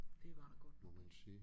Det var der godt nok ikke